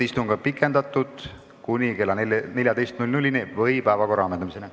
Istungi aega on pikendatud kuni kella 14-ni või päevakorra ammendumiseni.